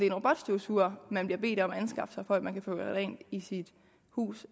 en robotstøvsuger man bliver bedt om at anskaffe sig for at man kan få gjort rent i sit hus